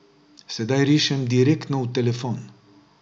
Sedaj rišem direktno v telefon.